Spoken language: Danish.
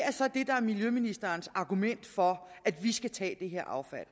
er så det der er miljøministerens argument for at vi skal tage det her affald